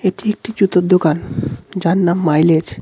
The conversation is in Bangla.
এটি একটি জুতোর দোকান. যার নাম মাইলেজ .